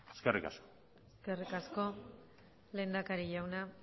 eskerrik asko eskerrik asko lehendakari jauna